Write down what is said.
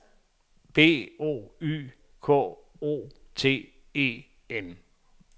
B O Y K O T E N